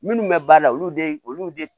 Minnu bɛ baara la olu de olu de